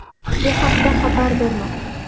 Bu haqda xabar bermoqda.